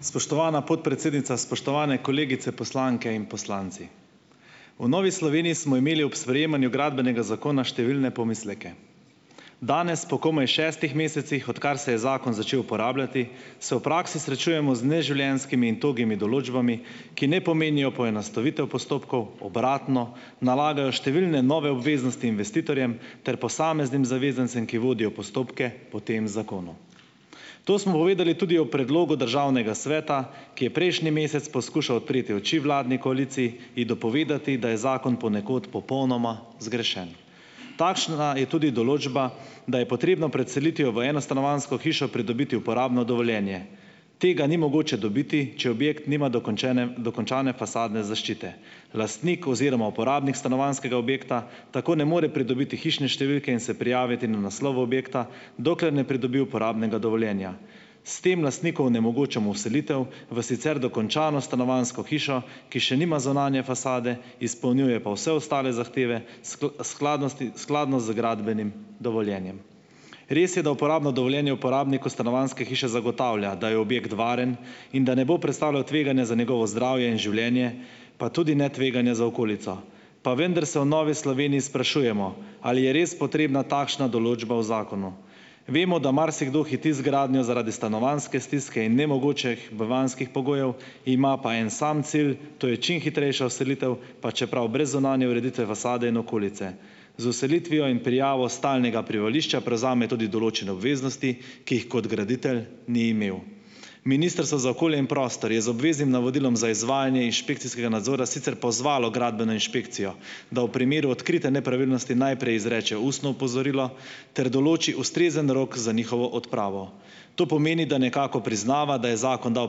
Spoštovana podpredsednica, spoštovani kolegice poslanke in poslanci! V Novi Sloveniji smo imeli ob sprejemanju Gradbenega zakona številne pomisleke. Danes, po komaj šestih mesecih, odkar se je zakon začel uporabljati, se v praksi srečujemo z neživljenjskimi in togimi določbami, ki ne pomenijo poenostavitev postopkov, obratno, nalagajo številne nove obveznosti investitorjem ter posameznim zavezancem, ki vodijo postopke po tem zakonu. To smo uvideli tudi v predlogu državnega sveta, ki je prejšnji mesec poskušal odpreti oči vladni koaliciji, ji dopovedati, da je zakon ponekod popolnoma zgrešen. Takšna je tudi določba, da je potrebno pred selitvijo v enostanovanjsko hišo pridobiti uporabno dovoljenje. Tega ni mogoče dobiti, če objekt nima dokončene dokončane fasadne zaščite. Lastnik oziroma uporabnik stanovanjskega objekta tako ne more pridobiti hišne številke in se prijaviti na naslov objekta, dokler ne pridobi uporabnega dovoljenja. S tem lastniku onemogočamo vselitev v sicer dokončano stanovanjsko hišo, ki še nima zunanje fasade, izpolnjuje pa vse ostale zahteve, skladnosti skladno z gradbenim dovoljenjem. Res je, da uporabno dovoljenje uporabniku stanovanjske hiše zagotavlja, da je objekt varen in da ne bo predstavljal tveganja za njegovo zdravje in življenje, pa tudi ne tveganja za okolico. Pa vendar se v Novi Sloveniji sprašujemo, ali je res potrebna takšna določba v zakonu. Vemo, da marsikdo hiti z gradnjo zaradi stanovanjske stiske in nemogočih bivanjskih pogojev, ima pa en sam cilj, to je čim hitrejša vselitev, pa čeprav brez zunanje ureditve, fasade in okolice. Z vselitvijo in prijavo stalnega prebivališča prevzame tudi določene obveznosti, ki jih kot graditelj ni imel. Ministrstvo za okolje in prostor je z obveznim navodilom za izvajanje inšpekcijskega nadzora sicer pozvalo gradbeno inšpekcijo, da v primeru odkrite nepravilnosti najprej izreče ustno opozorilo ter določi ustrezen rok za njihovo odpravo. To pomeni, da nekako priznava, da je zakon dal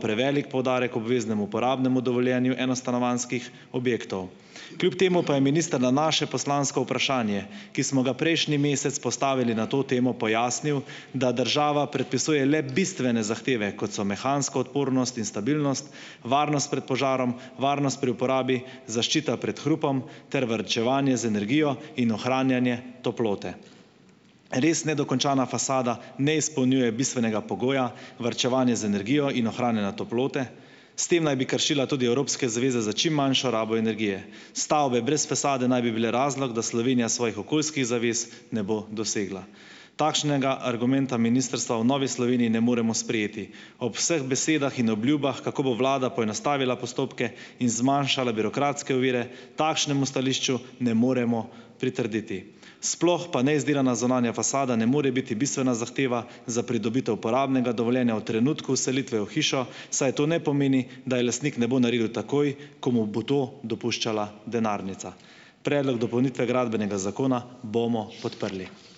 prevelik poudarek obveznemu uporabnemu dovoljenju enostanovanjskih objektov. Kljub temu pa je minister na naše poslansko vprašanje, ki smo ga prejšnji mesec postavili na to temo, pojasnil, da država predpisuje le bistvene zahteve, kot so mehansko odpornost in stabilnost, varnost pred požarom, varnost pri uporabi, zaščita pred hrupom ter varčevanje z energijo in ohranjanje toplote. Res nedokončana fasada ne izpolnjuje bistvenega pogoja - varčevanja z energijo in ohranjanja toplote, s tem naj bi kršila tudi evropske zaveze za čim manjšo rabo energije. Stavbe brez fasade naj bi bile razlog, da Slovenija svojih okoljskih zavez ne bo dosegla. Takšnega argumenta ministrstva v Novi Sloveniji ne moremo sprejeti. Ob vseh besedah in obljubah, kako bo vlada poenostavila postopke in zmanjšala birokratske ovire, takšnemu stališču ne moremo pritrditi. Sploh pa neizdelana zunanja fasada ne more biti bistvena zahteva za pridobitev uporabnega dovoljenja v trenutku vselitve v hišo, saj to ne pomeni, da je lastnik ne bo naredil takoj, ko mu bo to dopuščala denarnica. Predlog dopolnitve Gradbenega zakona bomo podprli.